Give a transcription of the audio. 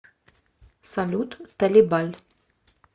салют талибаль